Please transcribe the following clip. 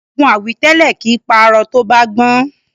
Ogun àwítẹ́lẹ̀ kìí pa arọ tó bá gbọ́n.